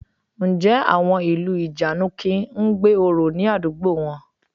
Ǹjẹ́ àwọn ìlú ìjànikin ń gbé orò ní àdúgbò wọn?